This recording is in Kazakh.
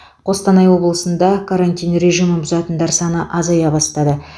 қостанай облысында карантин режимін бұзатындар саны азая бастады